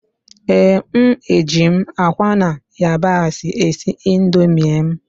Ee, m eji m akwa na yabasị esi Indomie m